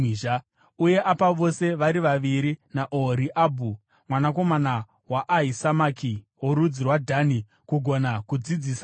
Uye apa vose vari vaviri iye naOhoriabhu mwanakomana waAhisamaki, worudzi rwaDhani kugona kudzidzisa vamwe.